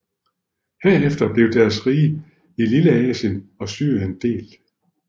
Herefter blev deres rige i Lilleasien og Syrien delt